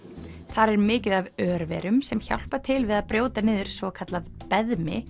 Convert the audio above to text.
þar er mikið af örverum sem hjálpa til við að brjóta niður svokallað